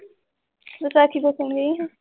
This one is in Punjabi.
ਵਿਸਾਖੀ ਦੇਖਣ ਗਈ ਸੀ?